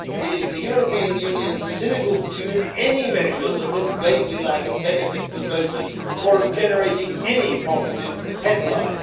It is the European Union's cynical pursuit of any measure that looks vaguely like a benefit for voters or of generating any positive headline.